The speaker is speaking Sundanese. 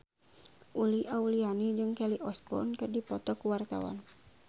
Uli Auliani jeung Kelly Osbourne keur dipoto ku wartawan